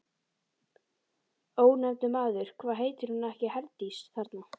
Ónefndur maður: Hvað heitir hún ekki Herdís, þarna?